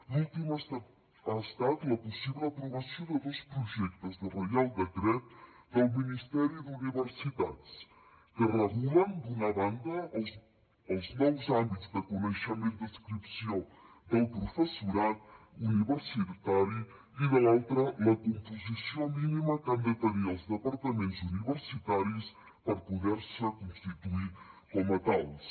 l’últim ha estat la possible aprovació de dos projectes de reial decret del ministeri d’universitats que regulen d’una banda els nous àmbits de coneixement d’adscripció del professorat universitari i de l’altra la composició mínima que han de tenir els departaments universitaris per poder se constituir com a tals